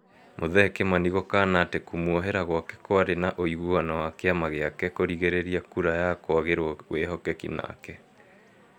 Muthee Kimani gũkana atĩ kũmũohera gwake kwarĩ na ũigũano wa kĩama gĩake kũrigiriria kura ya kwagĩrwo wĩhokeki nake